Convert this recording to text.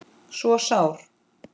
svo sár